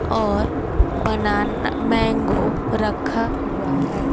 और banana mango रखा हुआ है।